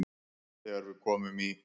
Þegar við komum í